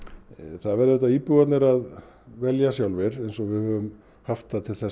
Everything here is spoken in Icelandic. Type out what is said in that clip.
það verða íbúar að velja sjálfir eins og við höfum haft það til